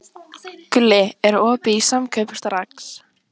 Gulli, er opið í Samkaup Strax?